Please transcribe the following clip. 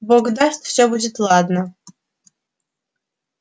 бог даст все будет ладно